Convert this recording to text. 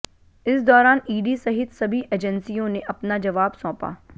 इस दौरान ईडी सहित सभी एजेंसियों ने अपना जवाब सौंपा